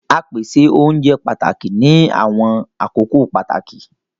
Á pèsè ọ̀unjẹ pátákì ní àwọn akókò pátákì